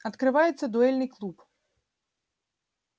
открывается дуэльный клуб